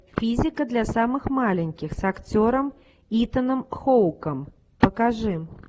физика для самых маленьких с актером итаном хоуком покажи